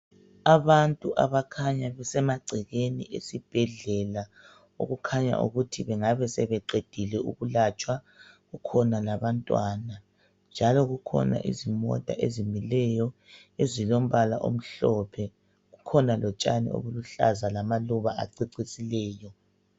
Abantu abakhanya besemagcekeni esibhedlela okukhanya ukuthi bengabe sebeqedile ukulatshwa. Kukhona labantwana njalo kukhona izimota ezimileyo ezilombala omhlophe, kukhona lotshani obuluhlaza lama lamaluba acecisileyo.